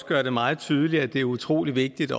gør det meget tydeligt at det også er utrolig vigtigt